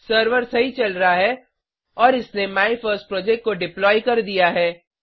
server सही चल रहा है और इसने माय फर्स्ट प्रोजेक्ट को डिप्लॉय कर दिया है